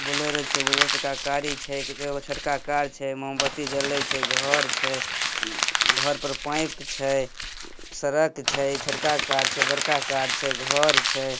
Bolero छे Bolero से का गाडी छे एगो छोटका कार छे मोमबत्ती जले छे घर छे घर पर पाईप छे। उम सड़क छे छोटका कार छे बड़का कार छे घर छे।